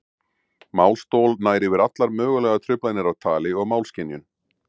Málstol nær yfir allar mögulegar truflanir á tali og málskynjun.